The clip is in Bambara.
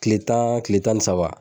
Kile tan kile tan ni saba.